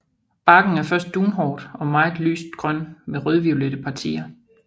Barken er først dunhåret og meget lyst grøn med rødviolette partier